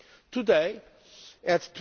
Today at